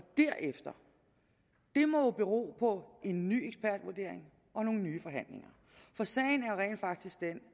derefter må jo bero på en ny ekspertvurdering og nogle nye forhandlinger for sagen er rent faktisk den